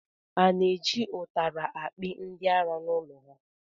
A na-eji ụtara akpị ndị ara n’ụlọ ha?